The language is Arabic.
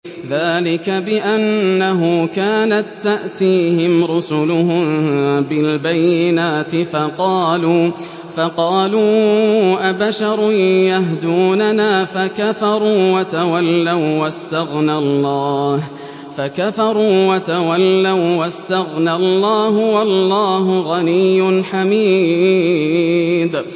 ذَٰلِكَ بِأَنَّهُ كَانَت تَّأْتِيهِمْ رُسُلُهُم بِالْبَيِّنَاتِ فَقَالُوا أَبَشَرٌ يَهْدُونَنَا فَكَفَرُوا وَتَوَلَّوا ۚ وَّاسْتَغْنَى اللَّهُ ۚ وَاللَّهُ غَنِيٌّ حَمِيدٌ